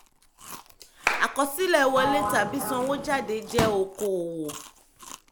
àkọsílẹ̀ wọlé tàbí sanwó jáde jẹ́ okoòwò.